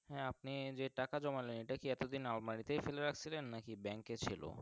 হ্যাঁ আপনি যে টাকা জমালেন এটা কি এত দিন আলমারি তেই ফেলে রাখছিলেন না কি Bank ছিল।